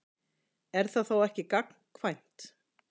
Er það þá ekki gagnkvæmt?